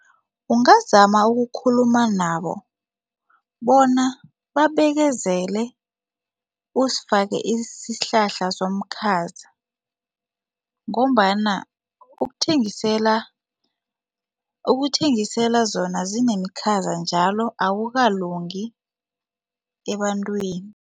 Ungazama ukukhuluma nabo bona babekezela, uzifake isihlahla somkhaza ngombana ukuthengisela ukuthengisela zona zinemikhaza njalo akukalungi ebantwini.